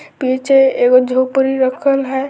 पीछे एगो झोपड़ी रखल है।